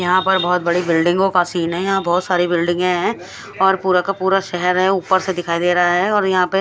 यहाँ पर बोहोत बड़ी बिल्डिंगो का सीन है यहाँ बोहोत सारी बिल्डिंग है और पूरा का पूरा शहर है ऊपर से दिखाई दे रहा है और यह पे--